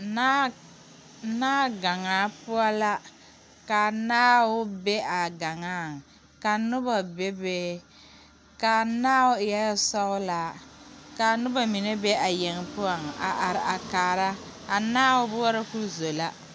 Naa naagaŋaa poɔ la ka naao be a gaŋaaŋ ka nobɔ bebe ka naao eɛɛ sɔglaa kaa nobɔ mine be a yeŋ poɔŋ a are a kaara a naao boɔrɔ koo zo la.